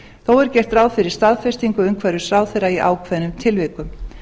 þó er gert ráð fyrir staðfestingu umhverfisráðherra í ákveðnum tilvikum